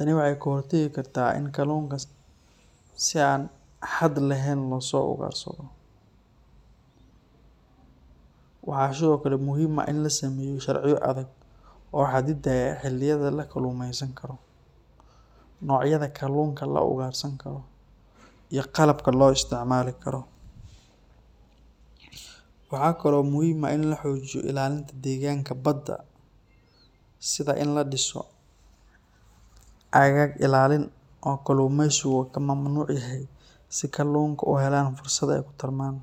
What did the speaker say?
wa in kalunka si an haad lehen losougarsado, waxa sidhokale muxiim ah in lasameyo sharciyo adag oo hadidayo xilimada lakalumeysankaroo, nocyada kalunka laugarsan karoo iya qalabka loisticmari karoo, waxa kalo muxiim ah in lahojiyo ilalinta deganka badaa, sida in ladiso agag ilalin oo kalumeysika kamamnuc yaxay, sida kalunka uhelan fursada ay kutarman,